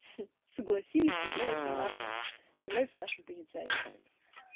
ха согласились является нашим является нашим позиционированием